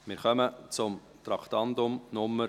Wir kommen zum Traktandum 74: